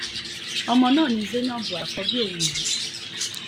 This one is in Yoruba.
ọmọ náà ni zainab àkọ́bí òun yìí